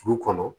Du kɔnɔ